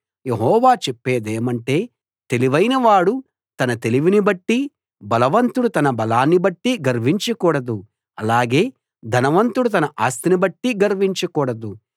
యెహోవా చెప్పేదేమంటే తెలివైనవాడు తన తెలివిని బట్టీ బలవంతుడు తన బలాన్ని బట్టీ గర్వించకూడదు అలాగే ధనవంతుడు తన ఆస్తిని బట్టి గర్వించకూడదు